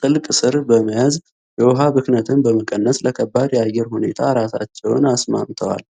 ጥልቅ ስር በመያዝ የውሃ ብክነትን በመቀነስ ለከባድ የአየር ሁኔታ ራሳቸውን አስማምተዋል።